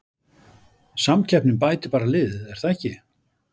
Samkeppnin bætir bara liðið er það ekki?